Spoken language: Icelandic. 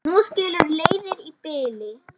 Nú skilur leiðir í bili.